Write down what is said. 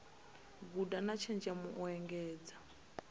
guda na tshenzhemo u engedza